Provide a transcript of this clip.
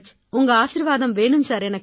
உங்க ஆசீர்வாதம் வேணும் சார் எனக்கு